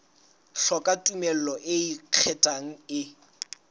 hloka tumello e ikgethang e